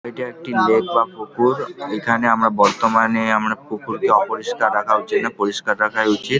এটা একটি লেক বা পুকুর |এখানে আমরা বর্তমানে আমরা পুকুর কে অপরিষ্কার রাখা উচিৎ নয় পরিষ্কার রাখাই উচিৎ ।